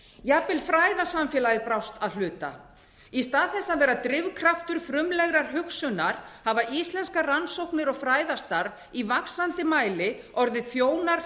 jafnvel fræðasamfélagið brást að hluta í stað þess að vera drifkraftur frumlegrar hugsunar hafa íslenskar rannsóknir og fræðastarf í vaxandi mæli orðið þjónar